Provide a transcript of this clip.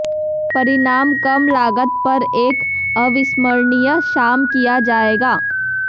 परिणाम कम लागत पर एक अविस्मरणीय शाम किया जाएगा